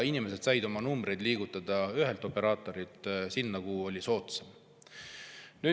Inimesed said numbrit liigutada ühe operaatori juurest sinna, kus oli soodsam.